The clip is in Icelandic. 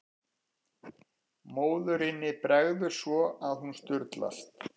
Móðurinni bregður svo að hún sturlast.